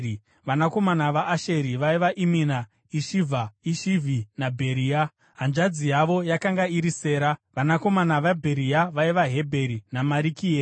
Vanakomana vaAsheri vaiva: Imina, Ishivha, Ishivhi naBheria. Hanzvadzi yavo yakanga iri Sera. Vanakomana vaBheria vaiva: Hebheri naMarikieri.